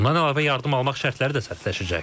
Bundan əlavə yardım almaq şərtləri də sərtləşəcək.